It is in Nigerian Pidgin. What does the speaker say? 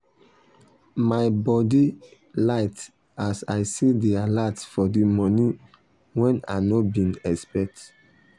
my body light as i see d alert for d money wen i no been expect